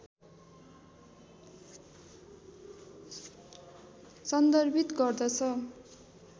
सन्दर्भित गर्दछ